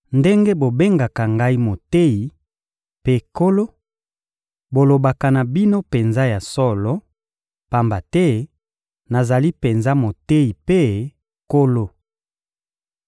Ndenge bobengaka Ngai «Moteyi» mpe «Nkolo,» bolobaka na bino penza ya solo, pamba te nazali penza Moteyi mpe Nkolo.